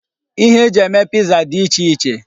Ihe e ji eme piza dị iche iche.